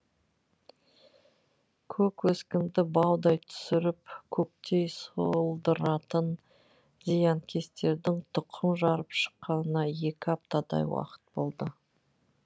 көк өскінді баудай түсіріп көктей солдыратын зиянкестердің тұқым жарып шыққанына екі аптадай уақыт болды